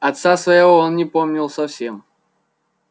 отца своего он не помнил совсем